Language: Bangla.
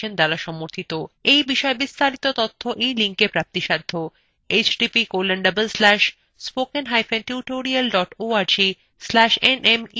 এই বিষয় বিস্তারিত তথ্য এই লিঙ্কএ পাওয়া যাবে